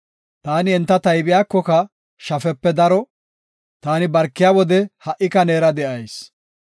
Taani enta taybiyako shafepe daro; taani barkiya wode ha77ika neera de7as.